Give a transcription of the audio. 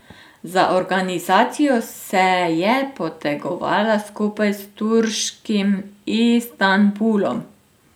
Za organizacijo se je potegovala skupaj s turškim Istanbulom.